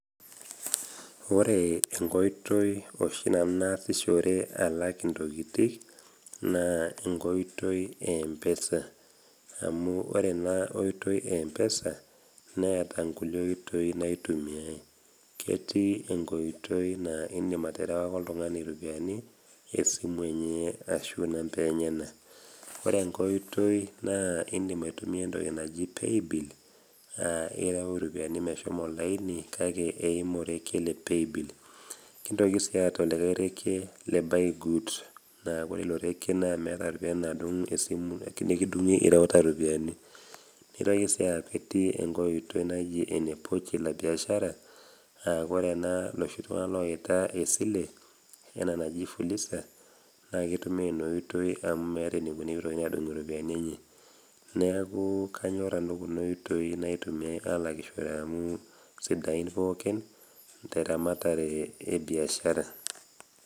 Ore enkoitoi oshi nanu naasishore alak intokitin naa enkoitoi e empesa, amu ore ena oitoi e empesa, neata inkulie oitoi naitumiyai, ketii enkoitoi naa indim aterewaki oltung'ani iropiani esimu enye ashu inambai enyena. Ore enkai oitoi naa indim aitumia entoki naji Playbill, aa ireu iropiani meshomo olaini, kake eimu orekie le Paybill. Kintoki sii aatau olikai rekie le buy goods, naa ore ilo rekie meata iropiani nadung' esimu nekidung'i ireuta iropiani. Neaku sii eitoki atii enkai oitoi sii naji ene pochi la biashara aa ore ena naa looshi tung'ana oaita esile, ena naji Fuliza naake eitumiya Ina oitoi amu meata eneiko pee eitokini adung' Nena ropiani enye, neaku anyor nanu Kuna oitoi naitumiyai aalakishore amu sidain pookin te eramatare e biashara.